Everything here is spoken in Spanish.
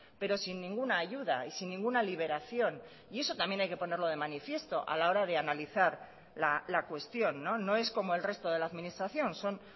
pero sin ninguna ayuda y sin ninguna liberación y eso también hay que ponerlo de manifiesto a la hora de analizar la cuestión no es como el resto de la administración son